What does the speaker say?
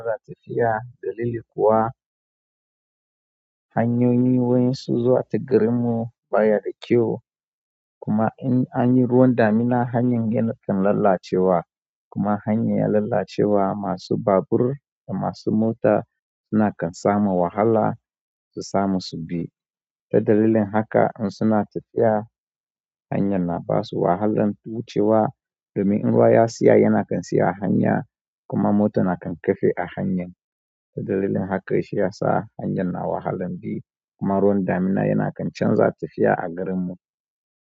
Za tafiya dalili kuwa hanyoyi wa yansu zuwa ta garin mu baya da kyau. Kuma in an yi ruwan damina hanyar yana kan lalacewa. Kuma hanyar ya lalacewa, masu babur da masu mota suna kan samu wahala su samu subi. Ta dalilin haka in suna tafiya, hanyan na basu wahalan wucewa domin in ruwa ya siya yana kan siya a hanya kuma mota na kan kafe a hanyar. Ta dalilin haka shi ya sa hanyar na wahalan bi kuma ruwan damina yana kan canza tafiya a garin mu.